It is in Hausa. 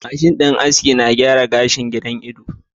.mashin din aski na gyara gashin giran Ido.